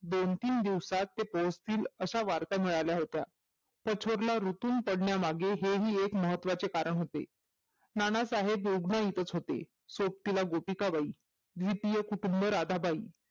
दोन तीन दिवसात पोहचतील अशा वार्ता मिळाल्या होत्या कठोर रुतून पडल्यामागे हे हि एक महत्वाचे कारण होते नानासाहेब गोगँळीतच होते सोबतीला गोपिकाबाई ए पी एस राधाबाई